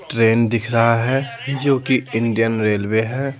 Train दिख रहा हैजो कि इंडियन रेलवे है ।